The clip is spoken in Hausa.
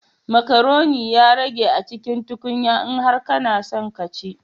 Macaroni ya rage a cikin tukunya, in har kana son ka ci